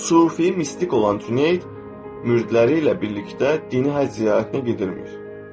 Sufi mistik olan Sreit müridləri ilə birlikdə dini həcc ziyarətinə gedirmiş.